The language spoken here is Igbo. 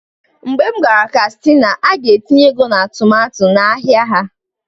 mgbe m gara kastina, a ga-etinye ego na tomato n'ahịa ha